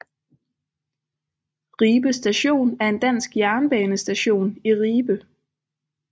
Ribe Station er en dansk jernbanestation i Ribe